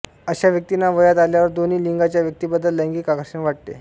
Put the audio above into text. अशा व्यक्तींना वयात आल्यावर दोन्हीलिंगाच्या व्यक्तींबद्दल लैंगिक आकर्षण वाटते